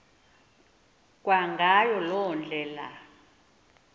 kwangayo loo ndlela